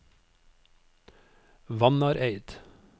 Vannareid